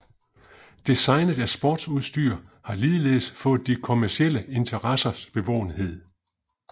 Designet af sportsudstyr har ligeledes fået de kommercielle interessers bevågenhed